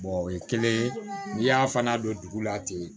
o ye kelen ye n'i y'a fana don dugu la ten